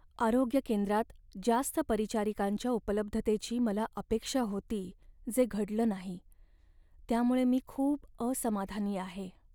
"आरोग्य केंद्रात जास्त परिचारिकांच्या उपलब्धतेची मला अपेक्षा होती जे घडलं नाही, त्यामुळे मी खूप असमाधानी आहे."